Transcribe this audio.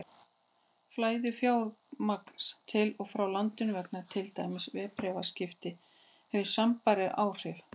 Flæði fjármagns til og frá landinu vegna til dæmis verðbréfaviðskipta hefur sambærileg áhrif.